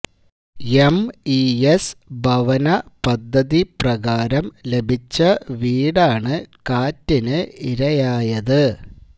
MES ഭവന പദ്ധതി പ്രകാരം ലഭിച്ച വീടാണ് കാറ്റിന് ഇരയായത്